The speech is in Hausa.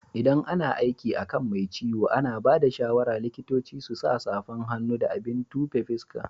ldan ana aiki akan Mai ciwo, ana bada shawara likitoci su sa safan hannu da abin tufe fuska.